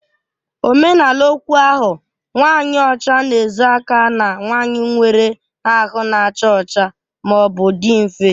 Omenala okwu ahụ"nwanyị ọcha na-ezo aka na nwanyị nwere ahụ na-acha ọcha ma ọ bụ dị nfe"